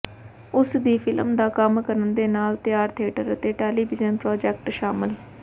ਉਸ ਦੀ ਫਿਲਮ ਦਾ ਕੰਮ ਕਰਨ ਦੇ ਨਾਲ ਤਿਆਰ ਥੀਏਟਰ ਅਤੇ ਟੈਲੀਵਿਜ਼ਨ ਪ੍ਰਾਜੈਕਟ ਸ਼ਾਮਲ